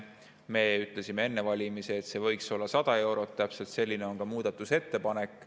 Me ütlesime enne valimisi, et see võiks olla 100 eurot, täpselt selline on ka muudatusettepanek.